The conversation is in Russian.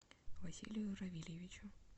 василию равильевичу